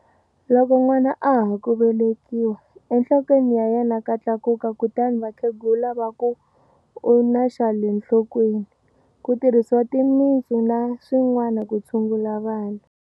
Loko nwana a ha ku velekiwa, enhlokweni ya yena ka tlulatlula kutani vakhegula va ku u na xa le nhlokweni, ku tirhisiwa timitsu na swin'wana ku tshungula vana.